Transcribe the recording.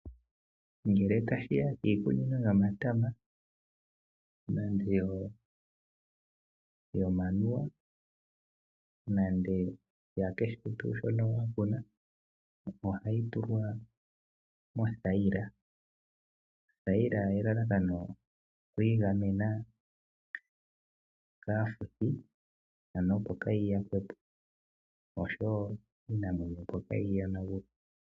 Ngele tashiya piikunino yomatama nande yo manuwa nande ya kehe tu shono wakuna ohayi tulwa mothayila, othayila elalakano okwingamena kafuthi ano opo kayi yakwepo osho wo Iinamwenyo opo kayi yonangule.